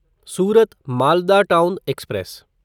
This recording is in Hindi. Surat Malda town express